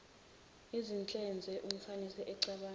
izinhlonze umfaniseni ecabanga